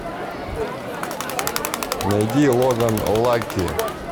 найди логан лаки